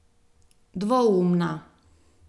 Dvoumna.